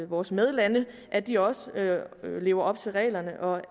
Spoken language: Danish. vores medlande at de også lever op til reglerne og